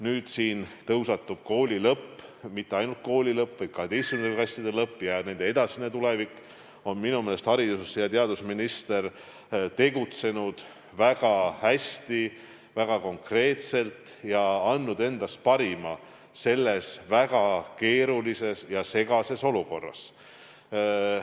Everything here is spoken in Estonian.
Kui siin tõusetub kooli lõpu teema – mitte ainult kooli lõpp, vaid 12. klasside lõpp ja nende edasine tulevik –, on minu meelest haridus- ja teadusminister tegutsenud väga hästi ja konkreetselt ning andnud endast parima selles väga keerulises ja segases olukorras.